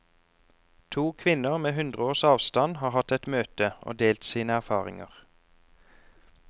To kvinner med hundre års avstand har hatt et møte og delt sine erfaringer.